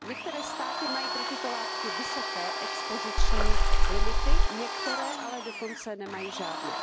Některé státy mají pro tyto látky vysoké expoziční limity, některé ale dokonce nemají žádné.